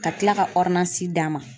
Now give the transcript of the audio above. Ka tila ka d'an ma.